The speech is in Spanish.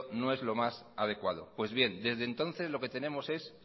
no es lo más adecuado pues bien desde entonces lo que tenemos es